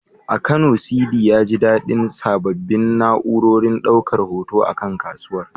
A Kano, Sidi, ya ji daɗin sanya sabbin na’urorin ɗaukar hoto a kan kasuwar.